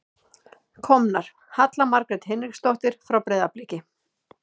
Komnar: Halla Margrét Hinriksdóttir frá Breiðabliki.